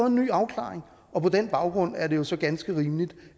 en ny afklaring og på den baggrund er det jo så ganske rimeligt